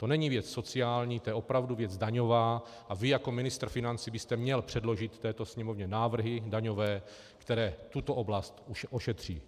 To není věc sociální, to je opravdu věc daňová a vy jako ministr financí byste měl předložit této Sněmovně návrhy daňové, které tuto oblast ošetří.